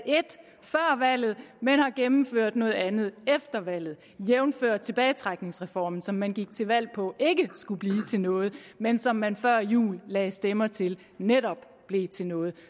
før valget men har gennemført noget andet efter valget jævnfør tilbagetrækningsreformen som man gik til valg på ikke skulle blive til noget men som man før jul lagde stemmer til netop blev til noget